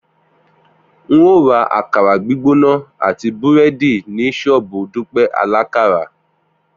N óò ra àkàrà gbígbóná àti búrẹ́dì ní ṣọ́ọ̀bù Dúpẹ́ alákàrà